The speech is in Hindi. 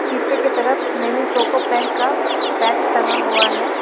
पीछे की तरफ ममी पोको पैंट का पैक टंगा हुआ है।